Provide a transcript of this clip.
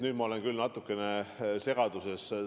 Nüüd ma olen küll natukene segaduses.